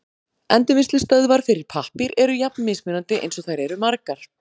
Endurvinnslustöðvar fyrir pappír eru jafn mismunandi eins og þær eru margar.